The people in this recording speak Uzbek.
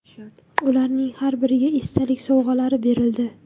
Ularning har biriga esdalik sovg‘alari berildi.